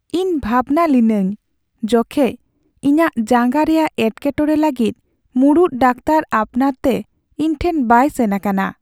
ᱤᱧ ᱵᱷᱟᱵᱽᱱᱟ ᱞᱤᱱᱟᱹᱧ ᱡᱚᱠᱷᱮᱡ ᱤᱧᱟᱹᱜ ᱡᱟᱝᱜᱟ ᱨᱮᱭᱟᱜ ᱮᱴᱠᱮᱴᱚᱬᱮ ᱞᱟᱹᱜᱤᱫ ᱢᱩᱲᱩᱫ ᱰᱟᱠᱛᱟᱨ ᱟᱯᱱᱟᱨ ᱛᱮ ᱤᱧ ᱴᱷᱮᱱ ᱵᱟᱭ ᱥᱮᱱ ᱟᱠᱟᱱᱟ ᱾